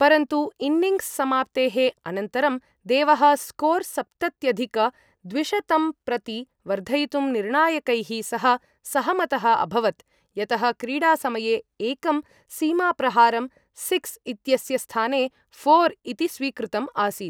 परन्तु, इन्निङ्ग्स् समाप्तेः अनन्तरं, देवः, स्कोर् सप्तत्यधिक द्विशतं प्रति वर्धयितुं निर्णायकैः सह सहमतः अभवत्, यतः क्रीडासमये एकं सीमाप्रहारं, सिक्स् इत्यस्य स्थाने फोर् इति स्वीकृतम् आसीत्।